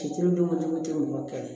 Fitiri donko don kɛlɛ